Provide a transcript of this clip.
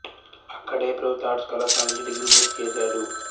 అక్కడే ప్రభుత్వ ఆర్ట్స్ కళాశాల నుంచి డిగ్రీ పూర్తి చేశాడు